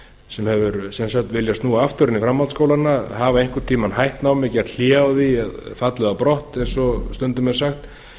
sem hefur viljað snúa aftur inn í framhaldsskólana hafa einhvern tíma hætt námi gert hlé á því fallið á brott eins og stundum er sagt